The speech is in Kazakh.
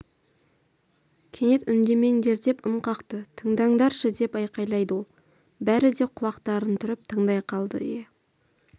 енет үндемеңдер деп ым қақты тыңдаңдаршы деп айқайлады ол бәрі де құлақтарын түріп тыңдай қалды ие